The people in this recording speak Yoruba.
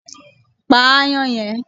Pa aáyán yẹn